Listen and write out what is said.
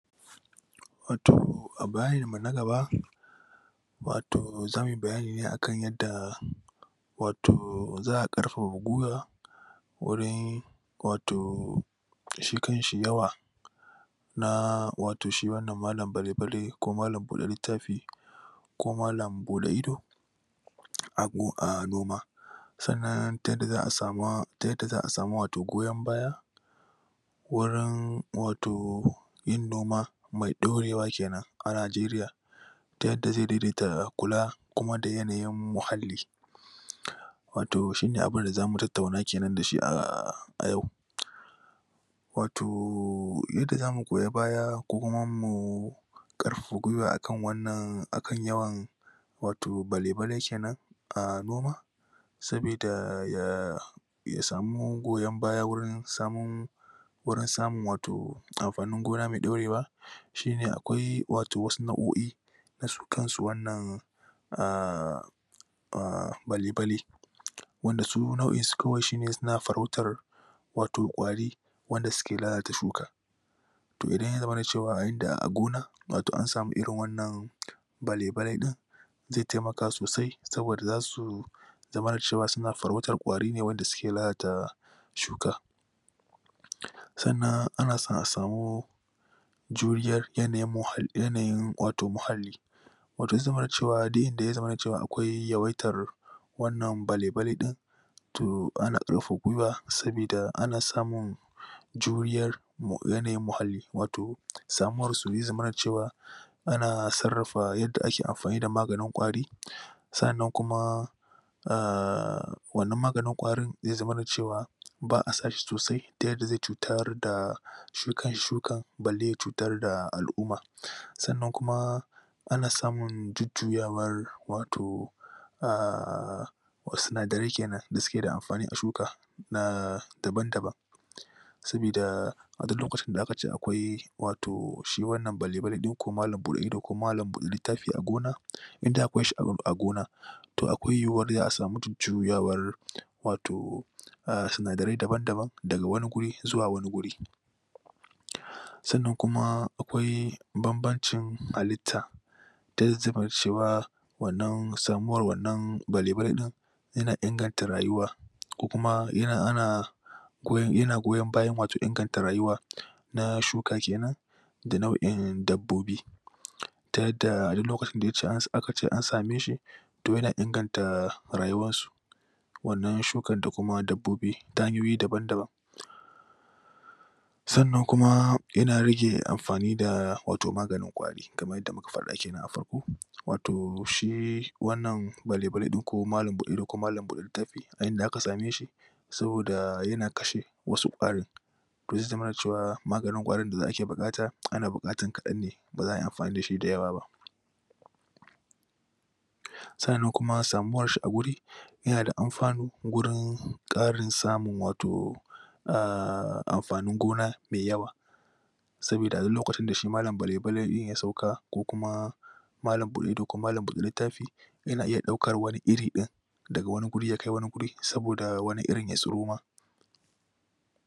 toh a bayanin mu na gaba wato zamu yi bayani ne akan yadda wato za'a Ƙarfafa giwa gurin wato shi kan shi yawa na wato shi wannan malam balele ko malam buɗe littafi ko malam buɗe ido abu a noma sannan ta yadda za'a samu goyon baya wajen wato yin noma mai daure wa kenan a nigeria ta yadda zai daidaita kula kuma da yaniyin muhalli wato shine abunda zamu tattauna kenan dashi a yau wato yadda zamu goya baya kuma ma mu Ƙarfafa gwiwa akan yawan ato bale bale kenan a noma sabida... ya samu goyan baya warin samun gurin samun wato amfanin gona mai daure wa shine akwai wato wasu na'oi na su kan su wannan a a bale bale wanda su nau'in su kawai suna farautar wato kwari wanda suke lalata shuka toh idan ya zama cewa wato a gona wato a samu irin wannan bale ale din zai taimaka sosai saboda zasu zamana cewa suna farautar kwari ne wanda suke lalata shuka sannan a san a samu juriyar yanayi wato muhalli wata zumar cewa dai da ya zama cewa akawi ya waitar wannan bale bale din toh ana Ƙarfafa gwiwa sabida ana samun juriyar yanayin muhalli wato samuwar using mana cewa ana sarrafa yadda ake amfani da maganin kwari sannan kuma a wannan maganin kwari zai zaman cewa ba'a sa shi sosai ta yarda zai cuta da shi kan shukan balle ya cutar da al'uma sannan kuma ana samun jujjuyawar wato a sinadari kenan da suke da amfani a shuka na daban daban sabida a duk lokacin da aka ce akwai wato shi wannan bale bale din ko malam bude ido ko malam littafi a gona indai akwai si a gona to akwai yiwuyar za'a samu jujjuyawar wato a sinadarai daban daban daga wani guri zuwa wani guri sannan kuma akwai ban ban cin halitta da ya zamana cewa wannan samuwar wannan bale bale din yana inganta rayuwa ko kuma ana yana goyan bayan in gata rayuwa na shuka kenan da nau'in dabbobi ta yadda duk lokacin da aka ce an same shi to yana inganta rayuwar su wannan shukan da kuma dabbobi ta hanyoyi daban daban sannan kuma yana rage amfani da wato maganin kwari kamar yadda muka fada kenan a farko wato shi wannan bale bale din ko malam bude ido ko malam bude littafi a inda aka same shi saboda yana kashe wasu kwari to zai zamana cewa maganin da ake buƘata ana buƘatan Ƙadan ne baza ayi amfani da shi dayawa ba sannan kuma samuwar shi a guri yanada amfanu gurin samun Ƙarin wato a amfanin gona mai yawa sabida a duk lokacin da shi malam bale bale din ya sauka ko kuma malam bude ido ko malam bude lttafi yana iya ɗaukan wani iri ɗin daga wani guri ya kai wani guri saboda wani irin ya tsiro ma